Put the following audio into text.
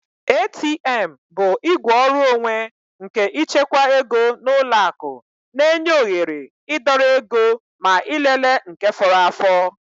ATM bụ igwe ọrụ onwe nke ịchekwa ego n'ụlọ akụ na-enye oghere idọrọ ego ma ịlele nke fọrọ afọ